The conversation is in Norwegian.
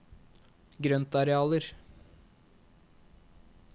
grøntarealer